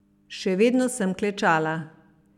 Še vedno sem klečala.